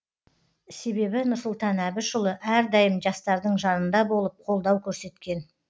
себебі нұрсұлтан әбішұлы әрдайым жастардың жанында болып қолдау көрсеткен